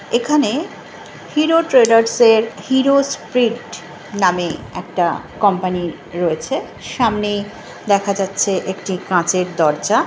এখানে Hero Traders -এর Hero Sprint নামে একটা কোম্পানি রয়েছে। সামনে দেখা যাচ্ছে একটি কাঁচের দরজা।